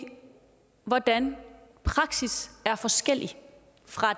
hvordan praksis er forskellig fra